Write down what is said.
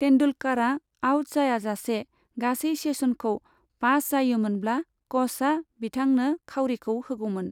तेन्दुलकारआ out जायाजासे गासै सेसनखौ पास जायोमोनब्ला कचआ बिथांनो खावरिखौ होगौमोन।